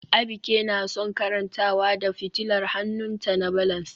Abike na son karantawa da fitilar hannunta na balance